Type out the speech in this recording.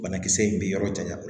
Banakisɛ in bɛ yɔrɔ janya bolo